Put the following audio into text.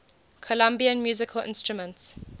colombian musical instruments